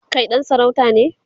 Kai ɗan sarauta ne?